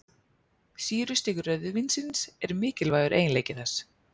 Sýrustig rauðvínsins er mikilvægur eiginleiki þess.